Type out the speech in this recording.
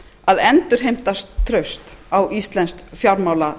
að endurheimta traust á íslenskt fjármálalíf